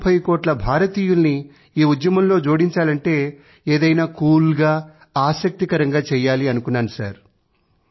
130కోట్ల భారతీయులని ఈ ఉద్యమంలో జోడించాలంటే ఏదైనా కూల్ గా ఆసక్తికరంగా చెయ్యాలనుకున్నాను